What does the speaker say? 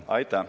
Aitäh!